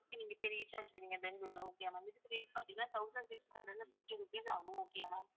நீங்க போய் reach ஆய்டுவீங்க பெங்களூருல okay வா ma'am இதுக்கு rate பாத்தீங்கன்னா thousand six hundred and fifty rupees ஆகும் okay அ ma'am